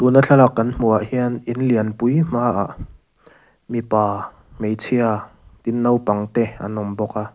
tuna thlalak kan hmuhah hian in lianpui hmaah mipa hmeichhia tin naupang te an awm bawk a.